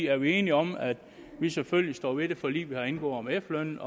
er vi enige om at vi selvfølgelig står ved det forlig vi har indgået om efterlønnen